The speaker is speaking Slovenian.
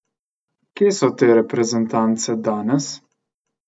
Kje so te reprezentance danes?